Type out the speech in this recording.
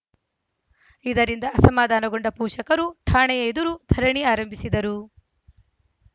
ಇದರಿಂದ ಅಸಮಾಧಾನಗೊಂಡ ಪೋಷಕರು ಠಾಣೆಯ ಎದುರು ಧರಣಿ ಆರಂಭಿಸಿದರು